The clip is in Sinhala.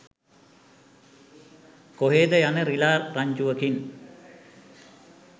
කොහේද යන රිළා රංචුවකින්